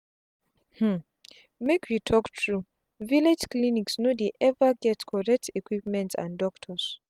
um make we talk truevillage clinics no dey ever get correct equipment and doctors